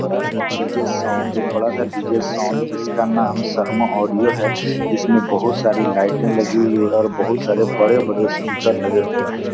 बड़ा सा DJ. Sound एक बड़ा सा डी.जे. साउंड जिसका नाम शर्मा ऑडियो है इसमें बहुत सारी लाइटे लगी हुई है और बहुत सारे बड़े-बड़े स्पीकर लगे हुए हैं।